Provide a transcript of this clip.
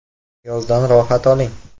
Yozdan rohat oling.